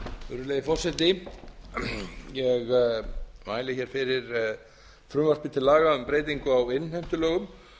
virðulegi forseti ég mæli hér fyrir frumvarpi til laga um breytingu á innheimtulögum